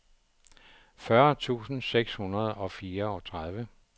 fyrre tusind seks hundrede og fireogtredive